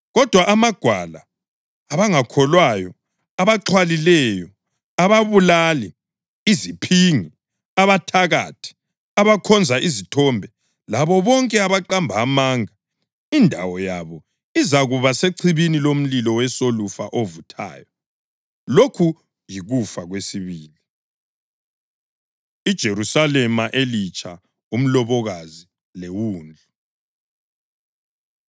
Kodwa amagwala, abangakholwayo, abaxhwalileyo, ababulali, iziphingi, abathakathi, abakhonza izithombe labo bonke abaqamba amanga; indawo yabo izakuba sechibini lomlilo wesolufa ovuthayo. Lokhu yikufa kwesibili.” IJerusalema Elitsha, Umlobokazi LeWundlu